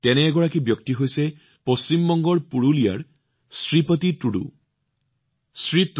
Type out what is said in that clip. তেনে এজন সংগী হৈছে পশ্চিম বংগৰ পুৰুলিয়াৰ শ্ৰীপতি টুডুজী